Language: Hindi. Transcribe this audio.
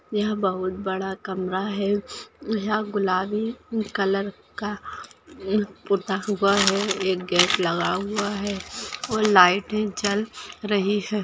यहा बहुत बड़ा कमरा है यहा गुलाबी कलर का पुता हुआ है एक गॅस लगा हुआ है और लाइटे जल रही है।